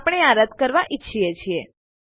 આપણે આ રદ કરવા ઈચ્છીએ છીએ